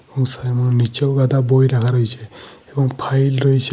এবং সেমন নিচেও গাদা বই রাখা রয়েছে। এবং ফাইল রয়েছে।